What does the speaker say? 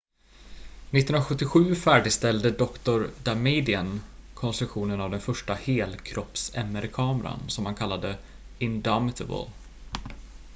"1977 färdigställde dr. damadian konstruktionen av den första "helkropps""-mr-kameran som han kallade "indomitable"".